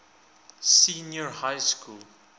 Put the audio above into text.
senior high school